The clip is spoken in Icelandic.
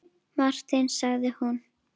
Martin sagði hún.